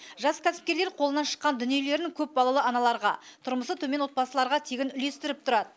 жас кәсіпкерлер қолынан шыққан дүниелерін көпбалалы аналарға тұрмысы төмен отбасыларға тегін үлестіріп тұрады